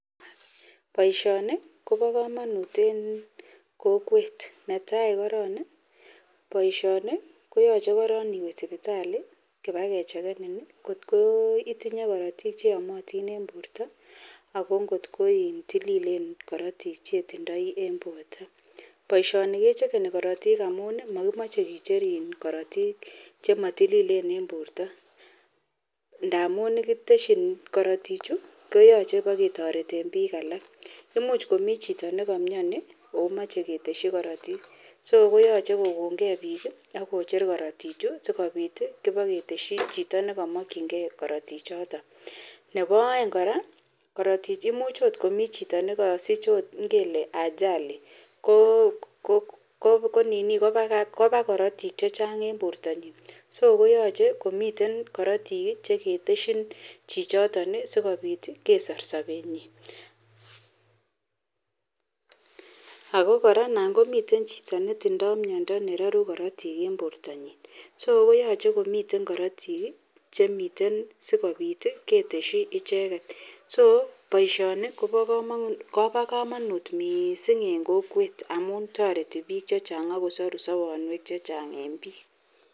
Baishoni Koba kamanut en kokwet netai koron baisho korong koyache iwe sibitali kebakechekenin kot kotinye korotik cheyamatin en borta ako kotkotililen korotik chetindoi en borta baishoni kechekeni korotik amun makimache korotik chematililen en borta ntamun kiteshin korotik Chu koyache keba ketareten bik alak imuch Komi chito jikamyan imache keteshi Kartik koyache kokongei bik akocher korotik Chu sikobit keteshi Chito nekamakingei korotik choton Nebo aeng koraa korotik koimuch komii Chito nikamuch okot kosich Ajali Koba Karatik chechang en bortanyin so koyache komiten korotik keteshin chichiton sikobit kesor sabenyin ako koraa anan komiten Chito netindoi miando neraru korotik en borta nyin so koyache komiten Karatik Chemiten sikobit keteshi icheket so baishoni Koba kamanut mising en kokwet amun tareti bik chechang akosaru sabanwek chechang en bik